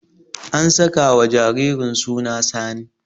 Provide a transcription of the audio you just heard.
An sakawa jaririn suna Sani.